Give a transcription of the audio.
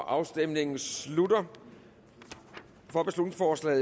afstemningen slutter for